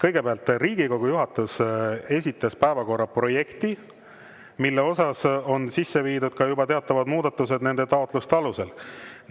Kõigepealt Riigikogu juhatus esitas päevakorra projekti, kuhu on sisse viidud juba teatavad muudatused nende taotluste alusel.